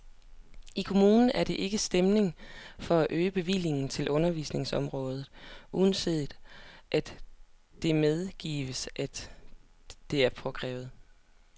I kommunen er der ikke stemning for at øge bevillingerne til undervisningsområdet, uanset at det medgives, at det er påkrævet.